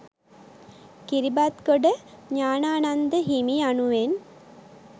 කිරිබත්ගොඩ ඤාණානන්ද හිමි යනුවෙන්